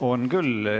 On küll.